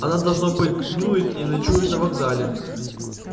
она должно быть днюет и ночует на вокзале